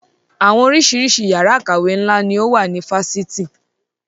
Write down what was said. Àwọn oríṣiríṣi yàrá ìkàwé ńlá ni ó wà ní Fáṣítì